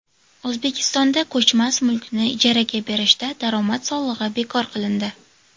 O‘zbekistonda ko‘chmas mulkni ijaraga berishda daromad solig‘i bekor qilindi.